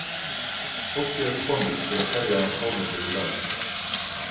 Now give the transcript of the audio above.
Fólkið er komið til að kveðja Þórhöllu í dag